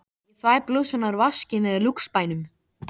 Nú vitum við að öreindirnar eru þrungnar lifandi afli.